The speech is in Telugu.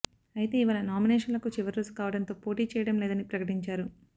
అయితే ఇవాళ నామినేషన్లకు చివరిరోజు కావడంతో పోటీ చేయడం లేదని ప్రకటించారు